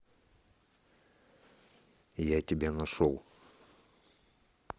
я тебя нашел